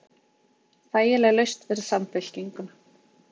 Þægileg lausn fyrir Samfylkinguna